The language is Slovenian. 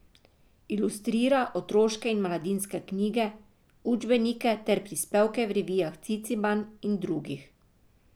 Ilustrira otroške in mladinske knjige, učbenike ter prispevke v revijah Ciciban in drugih.